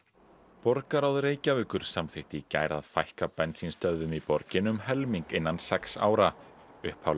borgarráð Reykjavíkur samþykkti í gær að fækka bensínstöðvum í borginni um helming innan sex ára upphaflega